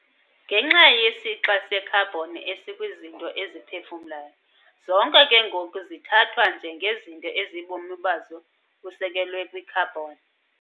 ngenxa yesixa se-carbon esikwizinto eziphefumlayo, zonke ke ngoku zithathwa njengezinto ezibomi bazo busekelwe kwi-carbon.